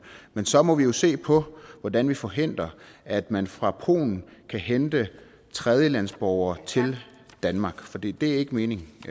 men så må vi se på hvordan vi forhindrer at man fra polen kan hente tredjelandsborgere til danmark for det er ikke meningen